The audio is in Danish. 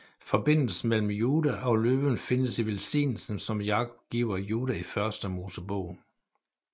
Forbindelsen mellem Juda og løven findes i velsignelsen som Jakob giver Juda i Første Mosebog